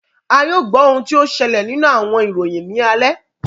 A yoo gbọ ohun ti o ṣẹlẹ ninu awọn iroyin ni alẹ.